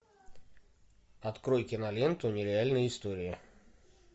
открой киноленту нереальные истории